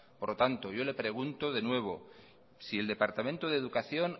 por lo tanto yo le pregunto de nuevo si el departamento de educación